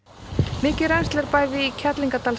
mikið rennsli er bæði í